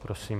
Prosím.